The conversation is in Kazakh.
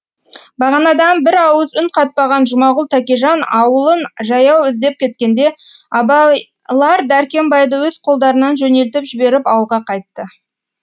бағанадан бір ауыз үн қатпаған жұмағұл тәкежан ауылын жаяу іздеп кеткенде абайлар дәркембайды өз қолдарынан жөнелтіп жіберіп ауылға қайтты